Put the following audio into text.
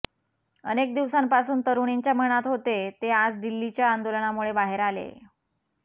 अनेक दिवसांपासून तरुणींच्या मनात होते ते आज दिल्लीच्या आंदोलनामुळे बाहेर आलेय